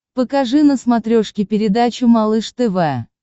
покажи на смотрешке передачу малыш тв